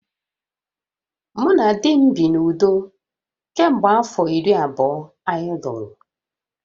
Mụ na di m bi n’udo kemgbe afọ iri abụọ anyị lụrụ